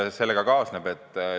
Mis sellega kaasneb?